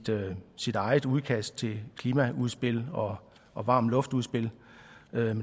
sit eget udkast til klimaudspil og varm luft udspil